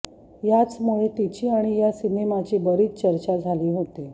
याचमुळे तिची आणि या सिनेमाची बरीच चर्चा झाली होती